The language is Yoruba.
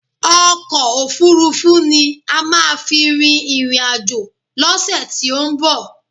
Ọkò òfurufú ni a má à fi rin ìrìn àjò lọ́sẹ̀ tí ó ń bọ̀.